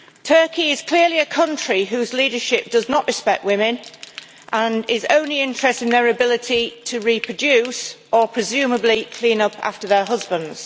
Turkey is clearly a country whose leadership does not respect women and is only interested in their ability to reproduce or, presumably, clean up after their husbands.